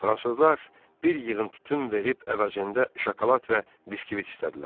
Fransızlar bir yığın tütün verib əvəzində şokolad və biskvit istədilər.